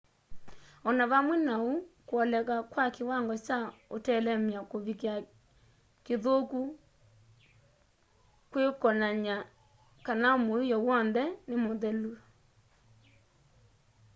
o na vamwe na ũu kwoleka kwa kĩwango kya ũtelemya kũvikĩa kĩthũku kwĩkwonanya kana mũiyo w'onthe nĩ muthelu